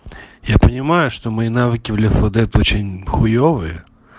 я понимаю что мои навыки в лефодет очень хуевые